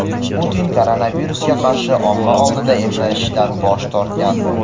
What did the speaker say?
Putin koronavirusga qarshi omma oldida emlanishdan bosh tortgandi.